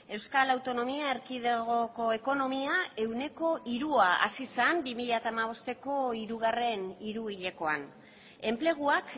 euskal autonomia erkidegoko ekonomia ehuneko hirua hazi zen bi mila hamabosteko hirugarren hiruhilekoan enpleguak